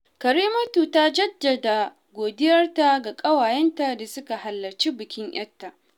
Karimatu ta jaddada godiyarta ga ƙawayenta da suka halarcin bikin ‘yarta